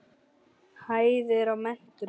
Hæðir í metrum.